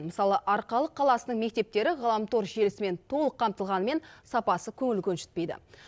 мысалы арқалық қаласының мектептері ғаламтор желісімен толық қамтылғанымен сапасы көңіл көншітпейді